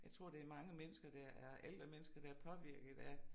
Jeg tror det mange mennesker der er ældre mennesker der er påvirket af